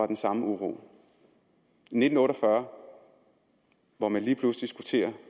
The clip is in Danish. den samme uro i nitten otte og fyrre hvor man lige pludselig skulle til at